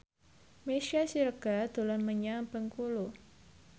Meisya Siregar dolan menyang Bengkulu